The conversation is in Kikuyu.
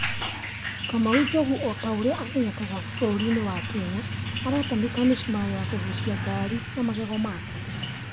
‘Kamau Njogu’ o ta u͂ri͂a amenyekanaga mu͂no bu͂ru͂ri-ini͂ wa Kenya, aratanuka mi͂cumari͂ na ku͂guuci͂a gari na magego make.